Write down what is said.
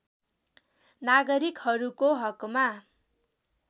नागरिकहरूको हकमा